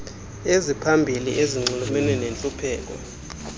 eziphambili ezinxulumene nentlupheko